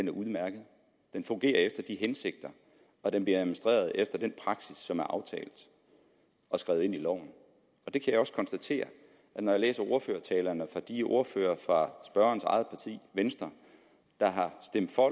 er udmærket den fungerer efter hensigterne og den bliver administreret efter den praksis som er aftalt og skrevet ind i loven det kan jeg også konstatere for når jeg læser ordførertalerne fra de forskellige ordførere og fra spørgerens eget parti venstre der har stemt for